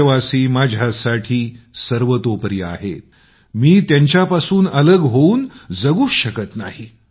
देशवासी माझ्यासाठी सर्वतोपरी आहेत मी त्यांच्यापासून अलग होऊन मी जगूच शकत नाही